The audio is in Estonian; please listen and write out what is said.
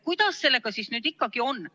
Kuidas sellega siis ikkagi on?